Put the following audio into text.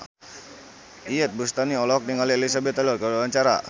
Iyeth Bustami olohok ningali Elizabeth Taylor keur diwawancara